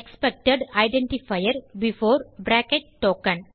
expected identifier before token